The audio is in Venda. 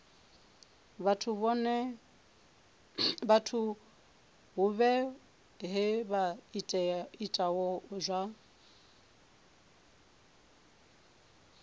vhathu vhohe vha itaho zwa